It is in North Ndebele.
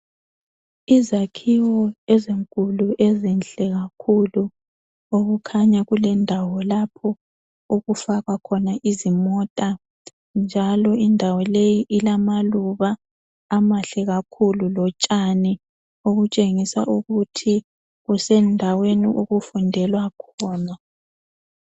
Izakhiwo ezinkulu ezinhle kakhulu okukhanya kulendawo lapho okufakwa khona izimota .Njalo indawo leyi ilamaluba amahle kakhulu lotshani obutshengisa ukuthi kusendaweni okufundelwa khona.